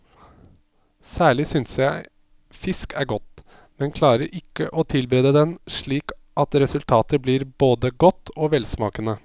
Særlig syntes jeg fisk er godt, men klarer ikke å tilberede den slik at resultatet blir både godt og velsmakende.